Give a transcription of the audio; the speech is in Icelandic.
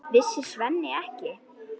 Vissi Svenni ekki?